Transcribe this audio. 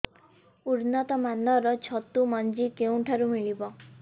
ଉନ୍ନତ ମାନର ଛତୁ ମଞ୍ଜି କେଉଁ ଠାରୁ ମିଳିବ